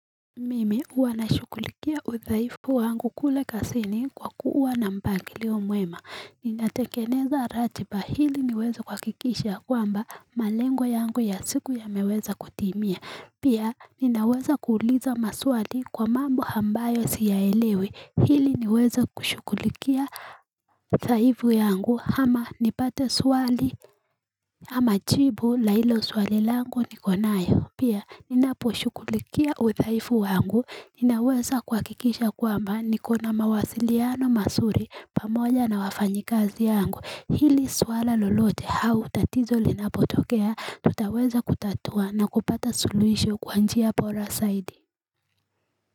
Mimi huanashukulikia uthaifu wangu kule kasini kwa kuwa na mpangilio mwema Ninatengeneza ratiba hili niweza kuwakikisha kwamba malengo yangu ya siku yameweza kutimia Pia ninaweza kuuliza maswali kwa mambo ambayo siya elewi hili niweze kushukulikia uthaifu yangu ama nipate swali ama chibu la ilo swalilangu nikonayo. Pia ninaposhukulikia udhaifu wangu. Ninaweza kuwakikisha kwamba niko na mawasiliano masuri pamoja na wafanyikazi yangu. Hili swala lolote hau tatizo linapotokea tutaweza kutatua na kupata suluisho kwa njia pora saidi.